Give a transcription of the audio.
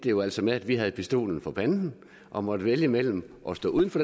jo altså med at vi havde pistolen for panden og måtte vælge mellem at stå uden for